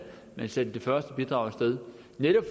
man sendte det første bidrag af sted det